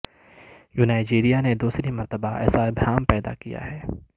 ینائجیریا نے دوسری مرتبہ ایسا ابہام پیدا کیا ہے